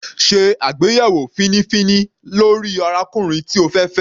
Sé àgbéyẹ̀wò fínífíní lórí arákùnrin tí o fẹ́ fẹ́.